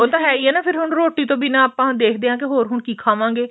ਉਹ ਤਾਂ ਹੈ ਈ ਏ ਫ਼ੇਰ ਰੋਟੀ ਤੋ ਬਿਨਾਂ ਆਪਾਂ ਦੇਖਦੇ ਆਂ ਹ਼ੋਰ ਹੁਣ ਕੀ ਖਾਵਾਂਗੇ